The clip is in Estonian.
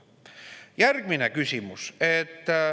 Järgmine küsimus.